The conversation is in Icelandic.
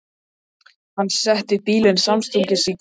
Hann setti bílinn samstundis í gang.